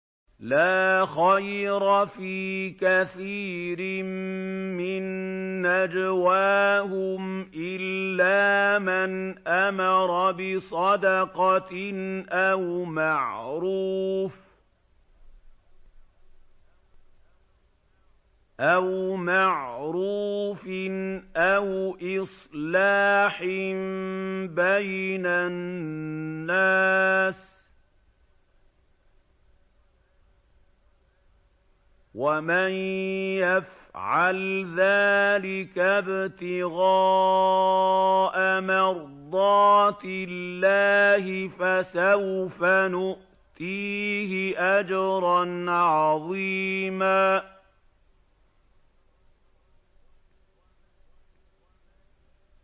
۞ لَّا خَيْرَ فِي كَثِيرٍ مِّن نَّجْوَاهُمْ إِلَّا مَنْ أَمَرَ بِصَدَقَةٍ أَوْ مَعْرُوفٍ أَوْ إِصْلَاحٍ بَيْنَ النَّاسِ ۚ وَمَن يَفْعَلْ ذَٰلِكَ ابْتِغَاءَ مَرْضَاتِ اللَّهِ فَسَوْفَ نُؤْتِيهِ أَجْرًا عَظِيمًا